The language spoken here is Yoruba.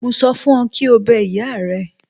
Mo sọ fún ọ kí o bẹ ìyá rẹ.